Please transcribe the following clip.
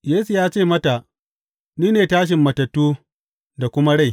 Yesu ya ce mata, Ni ne tashin matattu da kuma rai.